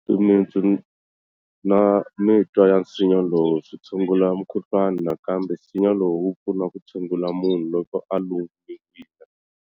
Timitsu na mitwa ya nsinya lowu swi tshungula mukhuhlwana nakambe nsinya lowu wu pfuna ku tshungula munhu loko a lumiwile